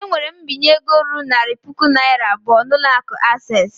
Ewere m mbinye ego ruru narị puku naira abụọ n'ụlọ akụ access.